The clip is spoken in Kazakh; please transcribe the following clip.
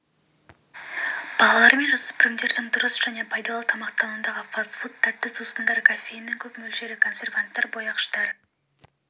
балалар мен жасөспірімдердің дұрыс және пайдалы тамақтануында фастфуд тәтті сусындар кофеиннің көп мөлшері консерванттар бояғыштары